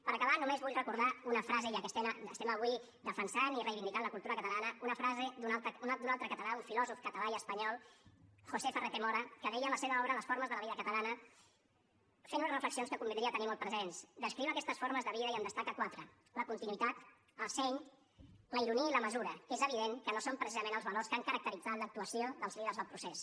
per acabar només vull recordar una frase ja que estem avui defensant i reivindicant la cultura catalana una frase d’un altre català un filòsof català i espanyol josé ferrater mora que deia en la seva obra les formes de la vida catalanareflexions que convindria tenir molt presents descriu aquestes formes de vida i en destaca quatre la continuïtat el seny la ironia i la mesura que és evident que no són precisament els valors que han caracteritzat l’actuació dels líders del procés